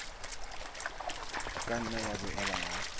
ka nna ya boela ya